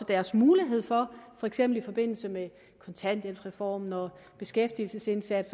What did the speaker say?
deres mulighed for for eksempel i forbindelse med kontanthjælpsreform og beskæftigelsesindsats